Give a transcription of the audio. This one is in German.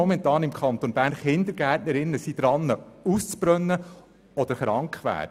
Denken wir daran, wie viele Kindergärtnerinnen im Kanton Bern dabei sind, auszubrennen oder krank zu werden.